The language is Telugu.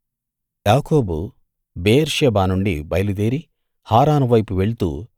యాకోబు బెయేర్షెబా నుండి బయలుదేరి హారాను వైపు వెళ్తూ